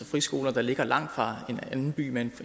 friskoler der ligger langt fra en anden by med